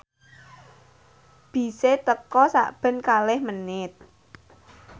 bise teka sakben kalih menit